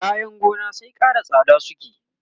kayan gona sai Ƙara tsada suke